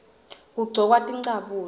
kugcokwa tincabule